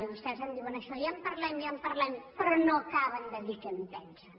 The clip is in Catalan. i vostès ens diuen això ja en parlem ja en parlem però no acaben de dir què en pensen